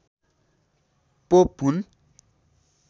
pope हुन्